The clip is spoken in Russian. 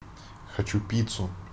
хочу пиццу